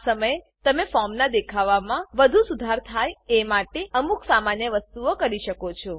આ સમયે તમે ફોર્મનાં દેખાવમાં વધુ સુધાર થાય એ માટે અમુક સામાન્ય વસ્તુઓ કરી શકો છો